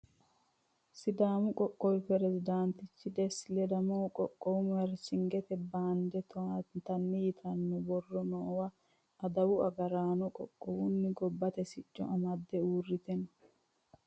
sidaamu qoqqowi peresidaantichi desta ledamohu qoqqowu maarchingete baande towaatanna yitanno borro noowa adawu agraano qoqqowunna gobbate sicco amadde uurrite no